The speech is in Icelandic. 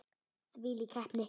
Hvílík heppni!